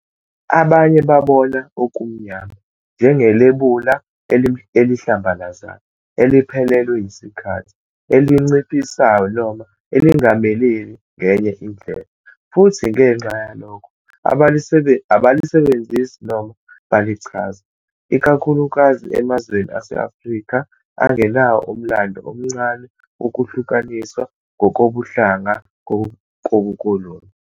Abanye babona "okumnyama" njengelebula elihlambalazayo, eliphelelwe yisikhathi, elinciphisayo noma elingameleli ngenye indlela, futhi ngenxa yalokho abalisebenzisi noma balichaza, ikakhulukazi emazweni ase-Afrika angenawo umlando omncane wokuhlukaniswa ngokobuhlanga kobukoloni.